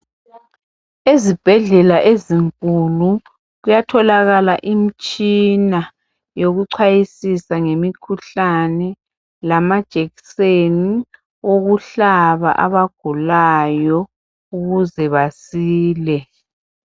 Ezibhedlela ezinkulu kuyatholakala imitshina yokuchwayisia ngemikhuhlane, lamajekiseni okuhlaba abagulayo ukuze basile.